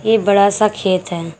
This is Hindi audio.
एक बड़ा सा खेत है।